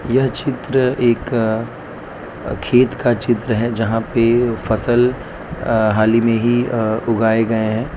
यह चित्र एक खेत का चित्र है जहां पे फसल अ हाल ही में ही अ उगाए गए हैं।